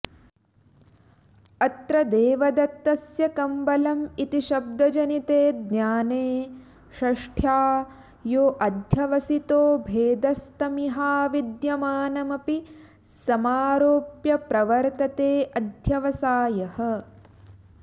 अत्र देवदत्तस्य कम्बल इति शब्दजनिते ज्ञाने षष्ठ्या योऽध्यवसितो भेदस्तमिहाविद्यमानमपि समारोप्य प्रवर्ततेऽध्यवसायः